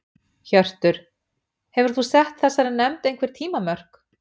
Hjörtur: Hefur þú sett þessari nefnd einhver tímamörk?